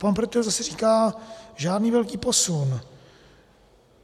Pan Pretel zase říká: Žádný velký posun.